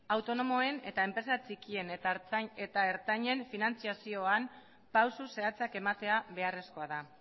autonomoen eta enpresa txikien eta ertainen finantziazioan pausu zehatzak ematea beharrezkoak dira